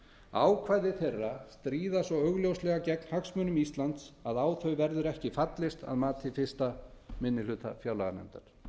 ákvæði þeirra stríða svo augljóslega gegn hagsmunum íslands að á þau verður ekki fallist að mati fyrsti minni hluta fjárlaganefndar